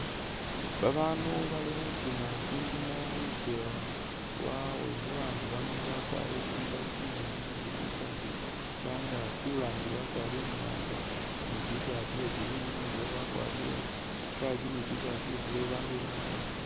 Babandu bali khutiima tsindimo khulukewa lwabwe, babandu bano bakwarire tsimbaale tsinyimbi ne tsi tshirt shangaaki, urangiile wakwarire imwanga ne i’tshirt iya green, uwililekho akwarire ikaki ne i’tshirt iya blue babandu bemile khundulo balolelele.